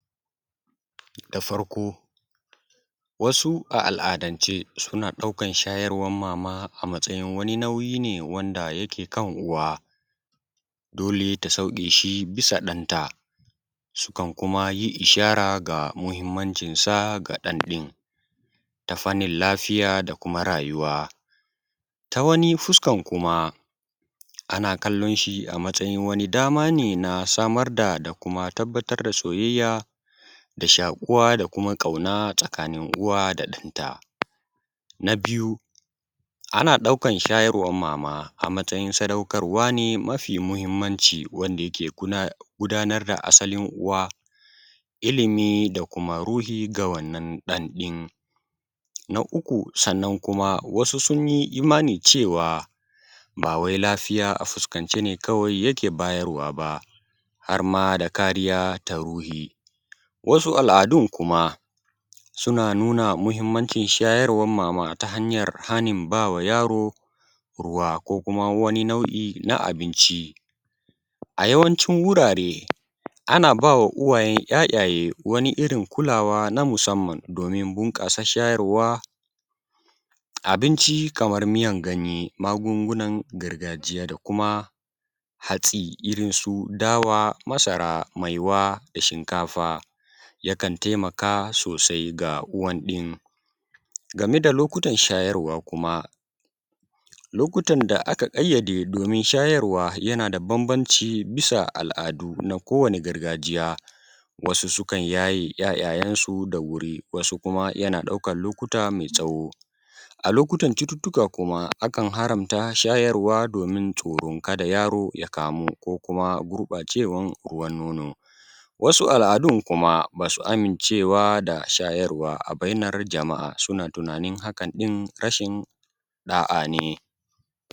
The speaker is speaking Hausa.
da farko wasu a al’adance suna ɗaukar shayarwar mama a matsayin wani nauyi ne wanda yake kan uwa dole ta sauɗe shi bisa ɗanta sukan kuma yi ishara bisa muhimancinsa ga ɗan ɗin ta fannin lafiya da kuma rayuwa ta wani fuskan kuma ana kallon shi a matsayin wani dama ne na samar da da kuma tabbatar da soyayya da shaƙuwa da kuma ƙauna tsakanin uwa da ɗanta na biyu ana ɗaukar shajarwan mama a matsayin sadaukarwa ne mafi muhimmanci wanda yake gudanar da asalin uwa ilimi da kuma ruhi ga wannan ɗan ɗin na uku sannan kuma wasu sun yi imani cewa ba wai lafiya a fuskance ne kawai yake bayarwa ba har ma da kariya ta ruhi wasu al’adun kuma suna nuna muhimmancin shayarwan mama ta hanyar hanin ba wa yaro ruwa ko kuma wani nau’i na abinci a yawancin wurare ana ba wa uwayen ‘ya’jaye wani irin kulawa na musamman domin bunƙasa shayarwa abinci kamar miyar ganye magungunan gargajiya da kuma hatsi irin su dawa masara maiwa da shinkafa yakan taimaka sosai ga uwan ɗin game da lokutan shajarwa kuma lokutan da aka ƙayyade domin shajarwa yana da bambanci bisa al’adu na kowane gargajiya wasu sukan yaye ‘ya’yansu da wuri wasu kuma yana ɗaukan lokuta mai tsawo a lokutan cututtuka kuma akan haramta shayarwa domin tsoron kada yaro ya kamu ko kuma gurɓacewan ruwan nono wasu al’adun kuma ba su amincewa da shayarwa a bainar jama’a suna tunanin hakan ɗin rashin ɗa’a ne